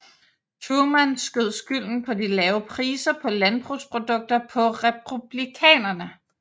Truman skød skylden for de lave priser på landbrugsprodukter på Republikanerne